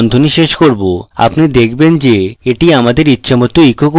আপনি দেখবেন যে এটি আমাদের ইচ্ছেমত echo করছে